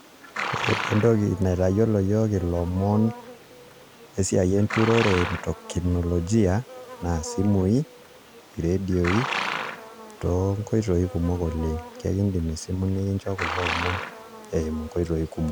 Ore taa entoki naitayiolo ilomon lesiai enturore kiteknolojia naa isimui , iredioi toonkoitoi kumok oleng, ekidim esimu nikincho kulo omon eimu nkoitoi kumok.